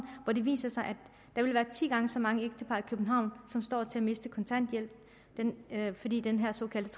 hvor det viser sig at der vil være ti gange så mange ægtepar i københavn som står til at miste kontanthjælpen fordi den her såkaldte